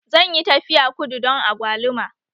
Zan yi tafiya kudu don agwaluma